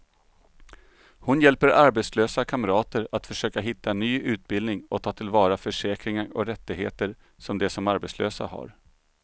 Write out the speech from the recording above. Hon hjälper arbetslösa kamrater att försöka hitta ny utbildning och ta till vara försäkringar och rättigheter som de som arbetslösa har.